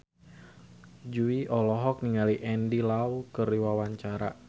Jui olohok ningali Andy Lau keur diwawancara